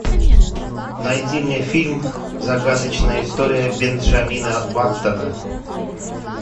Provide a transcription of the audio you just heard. найди мне фильм загадочная история бенджамина баттона